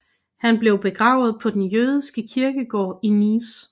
Han blev begravet på den jødiske kirkegård i Nice